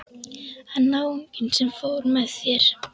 En náunginn sem fór með þér?